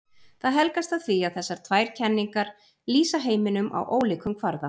Það helgast af því að þessar tvær kenningar lýsa heiminum á ólíkum kvarða.